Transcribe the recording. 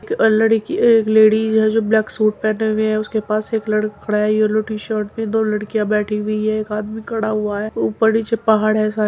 एक लड़की एक लेडीज है जो ब्लैक सूट पहने हुए है। उसके पास एक लड़का खड़ा है येलो टी-शर्ट में। दो लड़कियां बेठी हुई हैं। एक आदमी खड़ा हुआ है ऊपर नीचे पहाड़ हैं सारे --